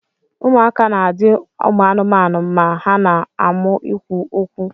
Ụmụaka na adi amụamụ ma ha na amu ikwụ okwu.